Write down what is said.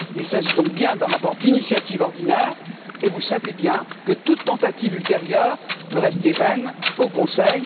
Il s'agit donc bien d'un rapport d'initiative ordinaire et vous savez bien que toute tentative ultérieure peut rester vaine au Conseil.